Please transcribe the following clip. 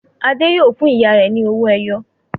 Adé yóò fún ìyá rẹ̀ ní owó-ẹyọ!